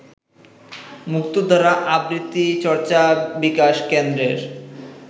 মুক্তধারা আবৃত্তি চর্চা বিকাশ কেন্দ্রের